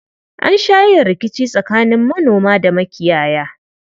An sha yin rikici tsakanin manoma da makiyaya.